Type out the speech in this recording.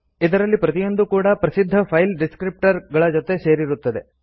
ಇದರಲ್ಲಿ ಪ್ರತಿಯೊಂದೂ ಕೂಡಾ ಪ್ರಸಿದ್ಧ ಫೈಲ್ ಡಿಸ್ಕ್ರಿಪ್ಟರ್ರ್ ಜೊತೆ ಸೇರಿರುತ್ತದೆ